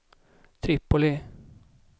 Tripoli